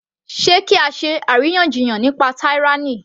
Sé kí á ṣe àríyànjiyàn nípa tyranny